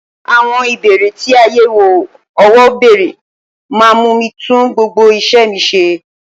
Àwọn Ìbéèrè tí àyẹ̀wò owó bèrè máa mú mi tún gbogbo isẹ mi ṣe.